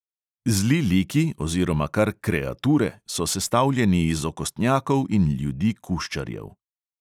Zli liki oziroma kar kreature so sestavljeni iz okostnjakov in ljudi kuščarjev.